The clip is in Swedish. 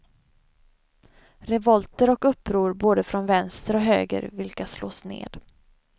Revolter och uppror både från vänster och höger, vilka slås ned.